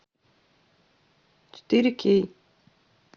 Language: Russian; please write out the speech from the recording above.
четыре кей